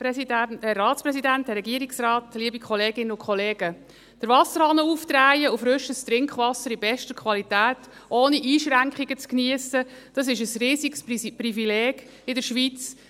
Den Wasserhahn aufzudrehen und frisches Trinkwasser in bester Qualität ohne Einschränkungen zu geniessen, ist ein riesiges Privileg in der Schweiz.